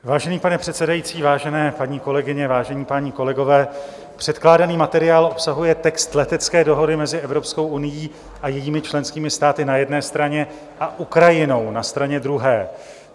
Vážený pane předsedající, vážené paní kolegyně, vážení páni kolegové, předkládaný materiál obsahuje text letecké dohody mezi Evropskou unií a jejími členskými státy na jedné straně a Ukrajinou na straně druhé.